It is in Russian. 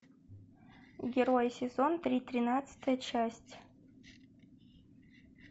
герой сезон три тринадцатая часть